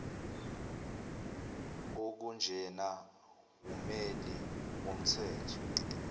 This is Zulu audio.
okunjena wummeli womthetho